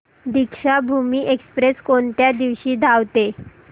Deekshabhoomi express कोणत्या दिवशी धावते